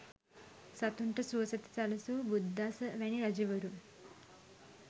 සතුන්ට සුවසෙත සැලසූ බුද්ධදාස වැනි රජවරුන්